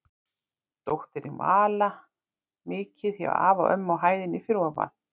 Dóttirin Vala mikið hjá afa og ömmu á hæðinni fyrir ofan.